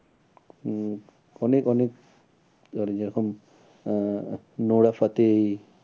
হম অনেক অনেক এবারে যে রকম আহ নোরা ফাতেহি